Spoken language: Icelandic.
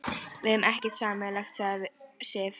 Við eigum ekkert sameiginlegt við Sif.